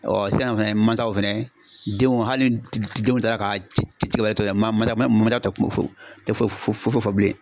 sisan fɛnɛ mansaw fɛnɛ, denw hali denw taa la ka cikɛ wɛrɛ to yen mansaw tɛ kuman few o tɛ foyi fɔ bilen.